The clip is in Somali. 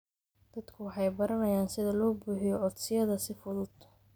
Dadku waxay baranayaan sida loo buuxiyo codsiyada si fudud.